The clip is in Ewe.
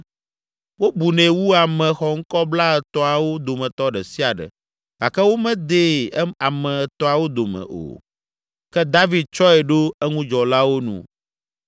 Wobunɛ wu ame xɔŋkɔ Blaetɔ̃awo dometɔ ɖe sia ɖe gake womedee ame Etɔ̃awo dome o. Ke David tsɔe ɖo eŋudzɔlawo nu.